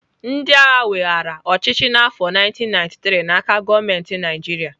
Ndị agha weghaara ọchịchị n'afọ 1993 n'aka gọọmenti Naijiria.